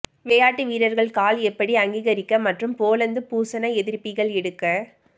விளையாட்டு வீரர்கள் கால் எப்படி அங்கீகரிக்க மற்றும் போலந்து பூசண எதிர்ப்பிகள் எடுக்க